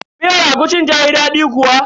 Miyar agushin tayi daɗi kuwa?